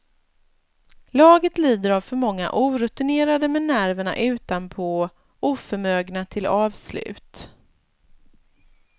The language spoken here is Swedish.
Laget lider av för många orutinerade med nerverna utanpå, oförmögna till avslut.